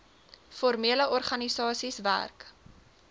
formele organisasies werk